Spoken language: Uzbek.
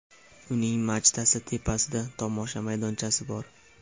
Uning machtasi tepasida tomosha maydonchasi bor.